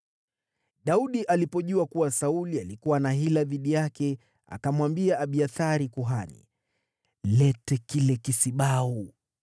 Daudi alipojua kuwa Sauli alikuwa ana hila dhidi yake, akamwambia Abiathari kuhani, “Leta kile kisibau.”